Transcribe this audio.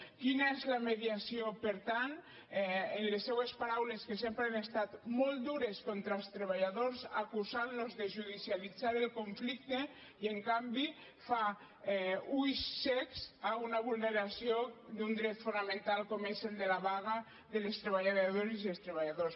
quina és la mediació per tant en les seues paraules que sempre han estat molt dures contra els treballadors acusant los de judicialitzar el conflicte i en canvi fa ulls cecs a una vulneració d’un dret fonamental com és el de la vaga de les treballadores i els treballadors